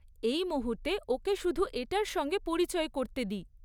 এই মুহূর্তে ওকে শুধু এটার সঙ্গে পরিচয় করতে দিই।